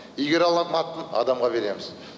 игере ала ма адамға береміз